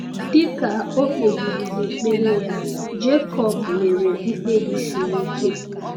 Dị ka o kpebiri n’ekpere ya, Jekọb mere mkpebi siri ike.